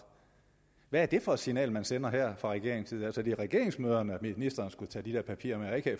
hvad er det for et signal man sender her fra regeringens side altså det er til regeringsmøderne at ministeren skulle tage de der papirer med